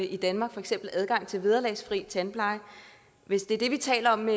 i danmark for eksempel adgang til vederlagsfri tandpleje hvis det er det vi taler om